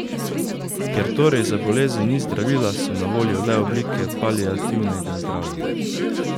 Ker torej za bolezen ni zdravila, so na voljo le oblike paliativnega zdravljenja.